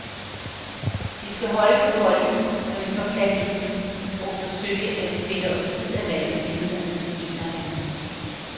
Vi skal holde på bolden, når vi får fat i den, og forsøge at spille os ud af vanskelighederne, mener han.